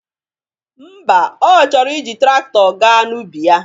Ḿbà, Ọ chọrọ iji traktọ ga n'ubi ya